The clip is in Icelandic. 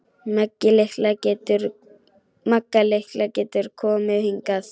Magga litla getur komið hingað.